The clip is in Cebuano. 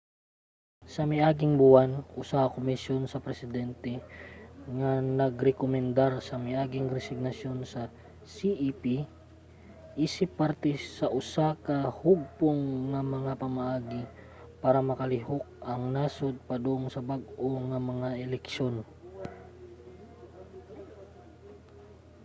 sa miaging buwan usa ka komisyon sa presidente ang nagrekomendar sa miaging resignasyon sa cep isip parte sa usa ka hugpong sa mga pamaagi para makalihok ang nasod padung sa bag-o nga mga eleksyon